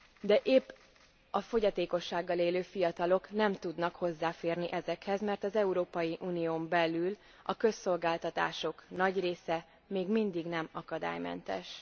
De épp a fogyatékossággal élő fiatalok nem tudnak hozzáférni ezekhez, mert az Európai Unión belül a közszolgáltatások nagy része még mindig nem akadálymentes.